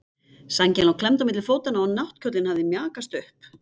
Sængin lá klemmd milli fótanna og náttkjóllinn hafði mjakast upp.